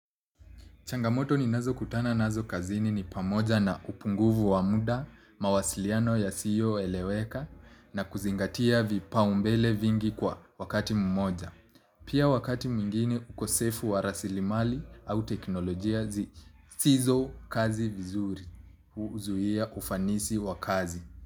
Changamoto ninazokutana nazo kazini ni pamoja na upungufu wa muda, mawasiliano yasiyoeleweka na kuzingatia vipaumbele vingi kwa wakati mmoja. Pia wakati mwingine ukosefu wa rasilimali au teknolojia zisizokazi vizuri huzuia ufanisi wa kazi.